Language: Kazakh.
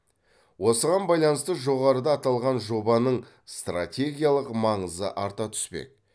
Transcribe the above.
осыған байланысты жоғарыда аталған жобаның стратегиялық маңызы арта түспек